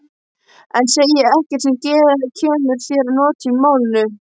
En segi ekkert sem kemur þér að notum í málinu.